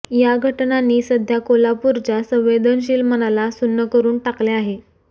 या घटनांनी सध्या कोल्हापूरच्या संवेदनशील मनाला सुन्न करून टाकले आहे